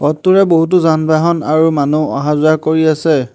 পথটোৰে বহুতো যান-বাহন আৰু মানুহ অহা-যোৱা কৰি আছে।